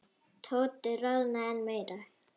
Tóti roðnaði enn meira.